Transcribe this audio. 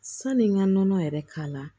Sani n ka nɔnɔ yɛrɛ k'a la